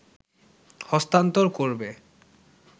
হস্তান্তর করবে